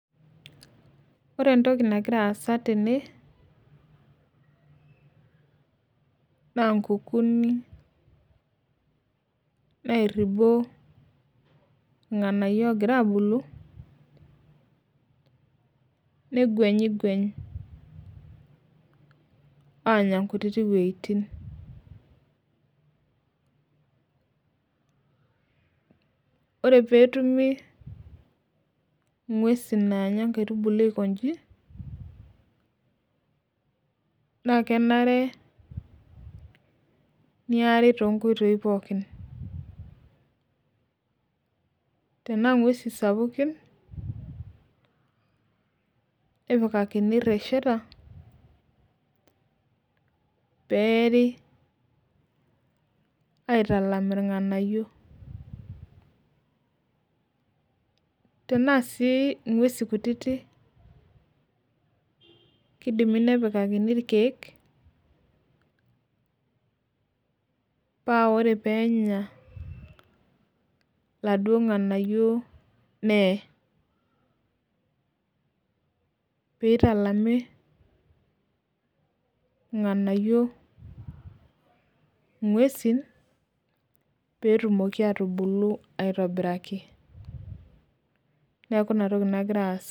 Ore entoki nagira aasa tene na nkukunik nairibo irnganayio ogira abulu neguenyingweny anya nkutitik wuejitin ore petumi ngwesi nanya nkaitubulu aikonji na kenare neari tonkoitoi pooki tanaa ngweusi sapukin nepikakini resheta peeri aitalam irnganayio tenaa si ngwesi kutiti kidimi nepikakini irkiek paa ore penya laduo nganayio neyee pitalimi irnganayio ngwesi petumoki atubulu aitobiraki neaku inatoki nagira aasa.